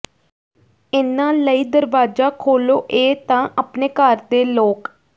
ਇਨ੍ਹਾਂ ਲਈ ਦਰਵਾਜ਼ਾ ਖੋਲੋ ਇਹ ਤਾਂ ਅਪਣੇ ਘਰ ਦੇ ਲੋਕ